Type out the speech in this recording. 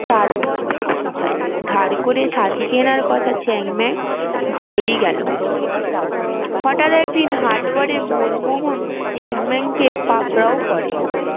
তারপর বছর যায় ধার করে ছাতি কেনার কথা চ্যাংম্যান ভুলেই গেলো হঠাৎ একদিন হাটবারে মনমোহন চ্যাংম্যান কে পাকরাও করে